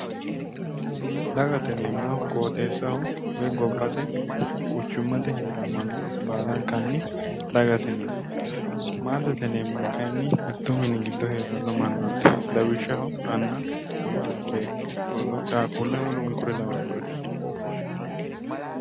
Dagate yineemmohu qooxeessaho woy gobbate quchummate haaranno manna baalankanni dagate yineemmo maatete yineemmohu kayinni mitto mini giddo heeranno mannaati lawishshaho ama anna rodoo beetto qaaqquulle woluno kuri lawannoreeti